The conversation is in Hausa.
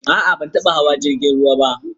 A'a, ban taba hawa jrigin ruwa ba.